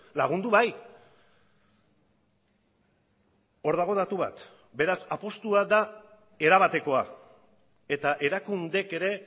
lagundu bai hor dago datu bat beraz apustua da erabatekoa eta erakundeek ere